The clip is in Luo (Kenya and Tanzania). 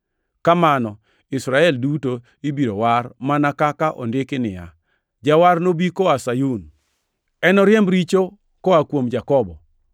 Kamano Israel duto ibiro war, mana kaka ondiki niya, “Jawar nobi koa Sayun; enoriemb richo oa kuom Jakobo.